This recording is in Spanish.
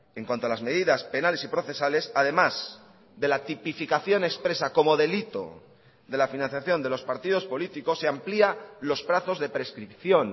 en cuanto a las medidas penales y procesales además de la tipificación expresa como delito de la financiación de los partidos políticos se amplía los plazos de prescripción